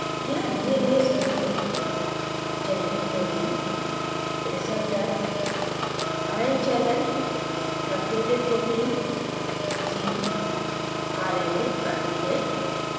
यहाँ the गए संकेत generic protein receptor ion channel truncated protein gene rna आदि हैं